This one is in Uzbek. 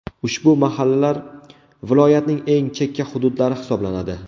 Ushbu mahallalar viloyatning eng chekka hududlari hisoblanadi.